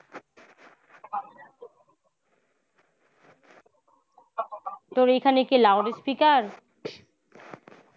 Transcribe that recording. তোর এখানে কি loud speaker?